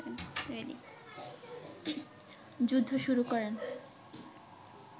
যুদ্ধ শুরু করেন